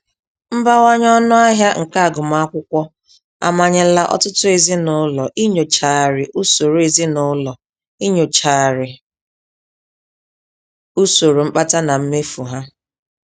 Mbawanye ọnụ ahịa nke agụmakwụkwọ amanyela ọtụtụ ezinụlọ inyochgharị usoro ezinụlọ inyochgharị usoro mkpata na mmefu ha.